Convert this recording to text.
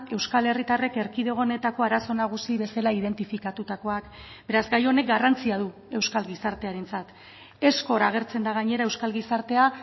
euskal herritarrek erkidego honetako arazo nagusi bezala identifikatutakoak beraz gai honek garrantzia du euskal gizartearentzat ezkor agertzen da gainera euskal gizartea